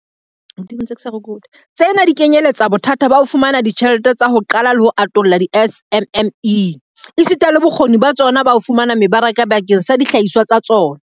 Tsena di kenyeletsa bothata ba ho fumana ditjhelete tsa ho qala le ho atolla di-SMME, esita le bokgoni ba tsona ba ho fumana mebaraka bakeng sa dihlahiswa tsa tsona.